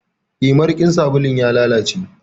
Eh, marikin sabulun ya lalace.